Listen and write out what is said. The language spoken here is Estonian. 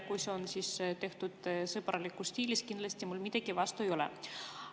Kui selline märkus on tehtud sõbralikus stiilis, siis mul kindlasti midagi selle vastu ei ole.